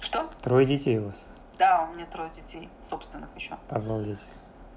что трое детей у вас да у меня трое детей собственных ещё обалдеть